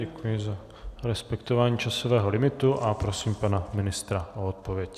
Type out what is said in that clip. Děkuji za respektování časového limitu a prosím pana ministra o odpověď.